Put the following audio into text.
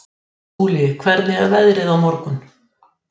Afganistan